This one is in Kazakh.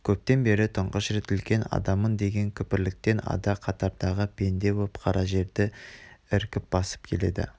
көптен бері тұңғыш рет үлкен адаммын деген күпірліктен ада қатардағы пенде боп қара жерді еркін басып келеді